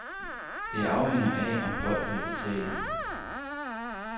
Det afhænger af, om folk vil betale.